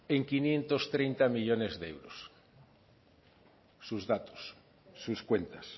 en quinientos treinta millónes de euros sus datos sus cuentas